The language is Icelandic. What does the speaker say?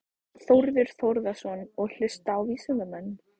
Þórður Þórðarson: Og hlusta á vísindamenn?